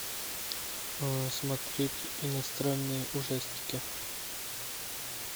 смотреть иностранные ужастики